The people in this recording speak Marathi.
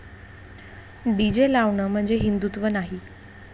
डीजे लावणं म्हणजे हिंदुत्व नाही.